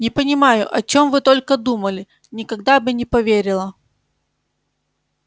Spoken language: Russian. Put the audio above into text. не понимаю о чём вы только думали никогда бы не поверила